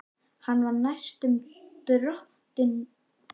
Hann var næstum dottinn um koll og greip í borðstokkinn.